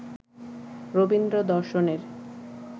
রবীন্দ্র-দর্শনের